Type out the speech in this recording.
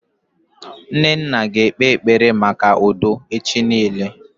Nnanna ga ekpe ekpere maka udo echi niile